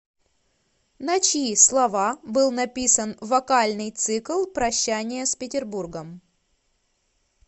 на чьи слова был написан вокальный цикл прощание с петербургом